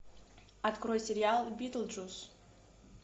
открой сериал битлджус